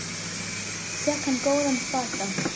Fékk hann góðan bata.